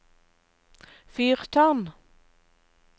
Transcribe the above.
fyrtårn